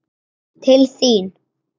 Til þín